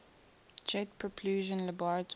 jet propulsion laboratory